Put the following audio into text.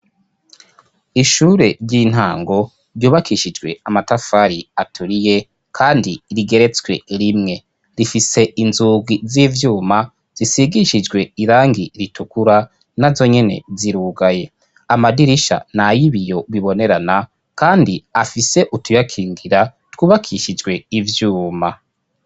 Ishure ry'intango ryubakishijwe amatafari aturiye kandi rigeretswe rimwe rifise inzugi z'ivyuma zisigishijwe irangi ritukura na zonyene zirugaye amadirisha n'ay'ibiyo bibonerana kandi afise utuyakingira twubakishijwe ivyuma.